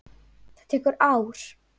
Það tekur ár.